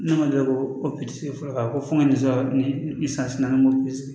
Ne ma deli ko fɔlɔ ko fo n ka nin sɔrɔ nin san na ni